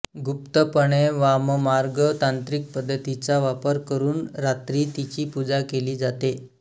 गुप्तपणे वाममार्ग तांत्रिक पद्धतींचा वापर करून रात्री तिची पूजा केली जाते